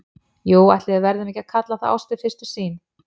Jú, ætli við verðum ekki að kalla það ást við fyrstu sýn.